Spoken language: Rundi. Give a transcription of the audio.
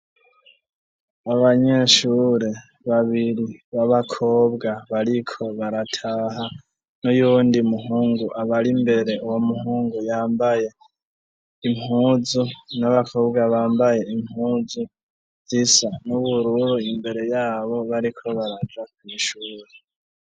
Abanyeshure babiri b'abakobwa bariko barataha n'uyundi muhungu abari mbere. Uwo muhungu yambaye impuzu n'abakobwa bambaye impuzu zisa n'ubururu imbere yabo bariko baraja kw'ishure.